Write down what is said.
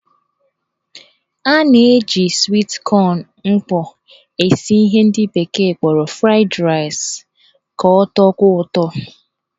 A na-eji swit kọn mkpọ esi ihe ndị bekee kpọrọ fried rice ka ọ tọkwuo ụtọ.